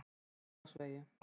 Grensásvegi